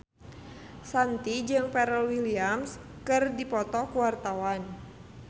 Shanti jeung Pharrell Williams keur dipoto ku wartawan